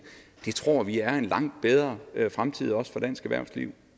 det tror vi er en langt bedre fremtid også for dansk erhvervsliv